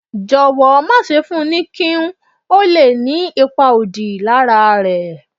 jọwọ ma ṣe fún ní Quinn, ó lé ní ipá òdí lara é